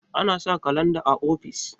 ana sa kalanda o ofis